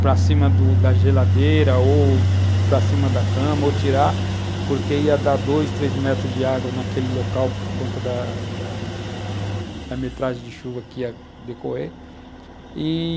para cima do da geladeira, ou para cima da cama, ou tirar, porque ia dar dois, três metros de água naquele local, por conta da da da metragem de chuva que ia decorrer e,